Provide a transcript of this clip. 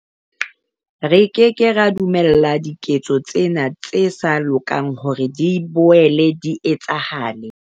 Re ke ke ra dumella diketso tsena tse sa lokang hore di boele di etsahale.